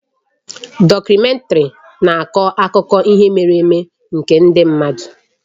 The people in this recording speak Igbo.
Dọkumèntarị na-akọ akụkọ ihe mere eme nke ndị mmadụ